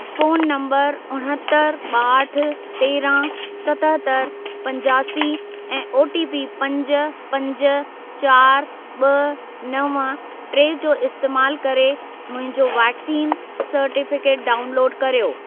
Phone number उणहतरि, ॿाहठि, तेरहं, सतहतरि, पंजासी ऐं ओटीपी पंज, पंज, चारि, ॿ, नव, टे जो इस्तेमालु करे मुंहिंजो वैक्सीन सर्टिफिकेट डाउनलोड कर्यो।